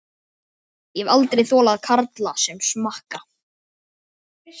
Bjarnólfur, hvað geturðu sagt mér um veðrið?